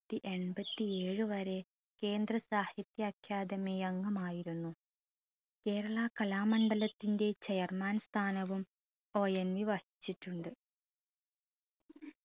ത്തി എൺപത്തി ഏഴ് വരെ കേന്ദ്ര സാഹിത്യ academy അംഗമായിരുന്നു കേരള കാലാമണ്ഡലത്തിൻറെ chairman സ്ഥാനവും ONV വഹിച്ചിട്ടുണ്ട്